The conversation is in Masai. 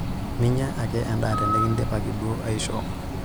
Minyia ake endaa tinikindipaki duo aishoo.